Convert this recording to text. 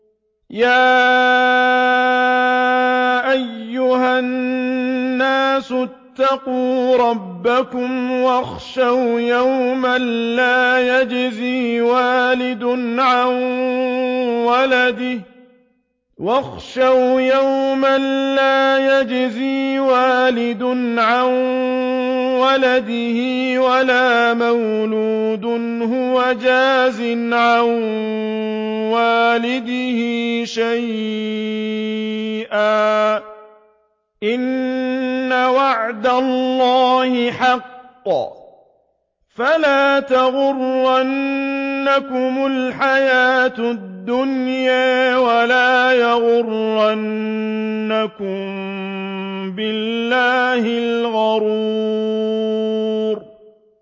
يَا أَيُّهَا النَّاسُ اتَّقُوا رَبَّكُمْ وَاخْشَوْا يَوْمًا لَّا يَجْزِي وَالِدٌ عَن وَلَدِهِ وَلَا مَوْلُودٌ هُوَ جَازٍ عَن وَالِدِهِ شَيْئًا ۚ إِنَّ وَعْدَ اللَّهِ حَقٌّ ۖ فَلَا تَغُرَّنَّكُمُ الْحَيَاةُ الدُّنْيَا وَلَا يَغُرَّنَّكُم بِاللَّهِ الْغَرُورُ